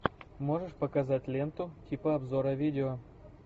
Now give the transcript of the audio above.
можешь показать ленту типа обзора видео